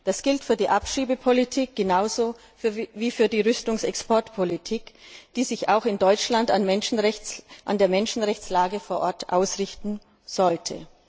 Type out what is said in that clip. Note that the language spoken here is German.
Das gilt für die Abschiebepolitik genauso wie für die Rüstungsexportpolitik, die sich auch in Deutschland an der Menschenrechtslage vor Ort ausrichten sollte.